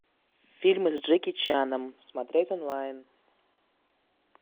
фильмы с джеки чаном смотреть онлайн